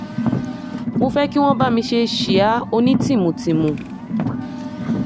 mo fẹ́ kí wọ́n bá mi ṣe síá onítìmùtìmù